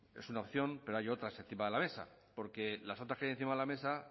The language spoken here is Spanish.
es una opción pero hay otras encima de la mesa porque las otras que hay encima de la mesa